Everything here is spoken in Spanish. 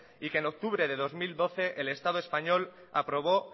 y que en octubre de dos mil doce el estado español aprobó